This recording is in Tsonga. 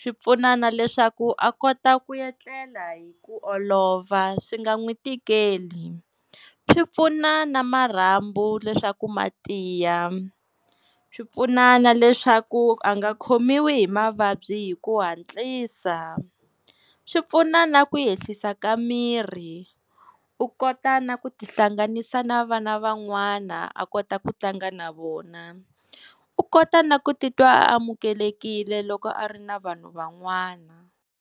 swi pfuna na leswaku a kota ku etlela hi ku olova swi nga n'wi tikeli. Swipfuna na marhambu leswaku ma tiya, swi pfuna na leswaku a nga khomiwi hi mavabyi hi ku hatlisa. Swi pfuna na ku yehlisa ka mirhi u kota na ku tihlanganisa na vana van'wana, a kota ku tlanga na vona, u kota na ku titwa a amukelekile loko a ri na vanhu van'wana.